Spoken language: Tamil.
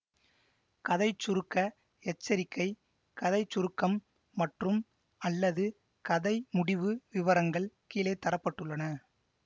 கதை சுருக்க எச்சரிக்கை கதை சுருக்கம் மற்றும்அல்லது கதை முடிவு விவரங்கள் கீழே தர பட்டுள்ளன